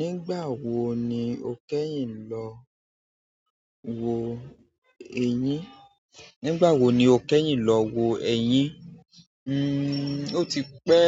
Nígbà wo ni o kẹ́yìn lọ wo eyín? Nígbà wo ni o kẹ́yìn lọ wo eyín? Hmm, o ti pẹ